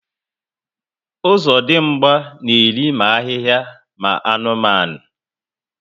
Ozodimgba na eri ma ahịhịa ma anụmanụ